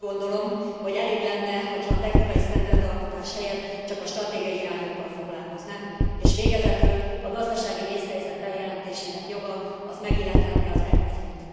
Én azt gondolom, hogy elég lenne, hogy ha a technikaistandard alkotás helyett csak a stratégiai irányokkal foglalkoznánk, és végezetül a gazdasági vészhelyzet bejelentésének joga, az megillethetné az ECOFIN t.